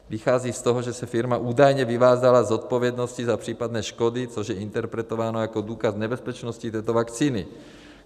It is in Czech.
Vychází z toho, že se firma údajně vyvázala z zodpovědnosti za případné škody, což je interpretováno jako důkaz nebezpečnosti této vakcíny.